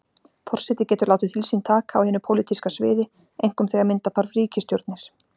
Forseti getur látið til sín taka á hinu pólitíska sviði, einkum þegar mynda þarf ríkisstjórnir.